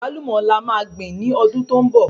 Àgbálùmọ́ là máa gbìn ní ọdún tó ń bọ